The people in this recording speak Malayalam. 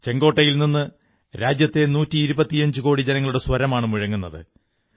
ചുവപ്പുകോട്ടയിൽ നിന്നു രാജ്യത്തെ നൂറ്റിയിരുപത്തിയഞ്ചുകോടി ജനങ്ങളുടെ സ്വരമാണു മുഴങ്ങുന്നത്